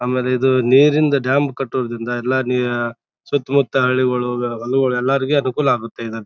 ಆಮೇಲೆ ಇದು ನೀರಿಂದ ಡ್ಯಾಮ್ ಕಟ್ಟುವುದ್ರಿಂದ ಎಲ್ಲಾ ನೆ ಸುತ್ತ ಮುತ್ತ ಹಳ್ಳಿಗೊಳು ಹೊಳಗೋಲ್ ಎಲ್ಲರಿಗೂ ಅನುಕೂಲ ಆಗುತ್ತೆ. ಅದು.